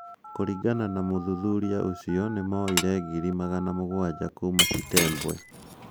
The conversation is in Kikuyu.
Kuringana na muthuthuria ucio, nĩ moire ngiri magana mũgwanja kuuma Chitembwe.